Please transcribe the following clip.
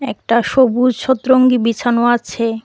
একটা সবুজ শতরঙ্গি বিছানো আছে।